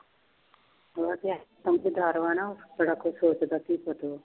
ਉਹ ਤੇ ਸਮਝਦਾਰ ਵਾ ਨਾ ਬੜਾ ਕੁਛ ਸੋਚਦਾ ਸੀ